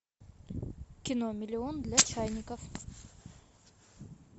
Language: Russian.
кино миллион для чайников